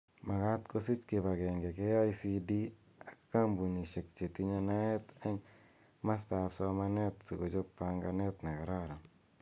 Makat kosich kib agenge KICD ak kambunishek chetinye naet eng masta ab somanet si kochob panganet ne kararan